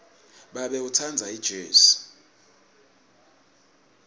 babe utsandza ijezi